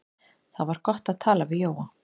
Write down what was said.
Það var gott að tala við Jóa.